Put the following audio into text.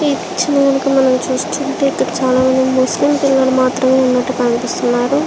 ఈ పిక్చర్ ని కనుక మనం చూస్తున్నట్టయితే ఇక్కడ చాలామంది ముస్లింలు మాత్రం ఉన్నట్టు కనిపిస్తున్నారు.